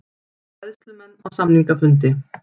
Bræðslumenn á samningafundi